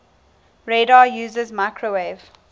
radar uses microwave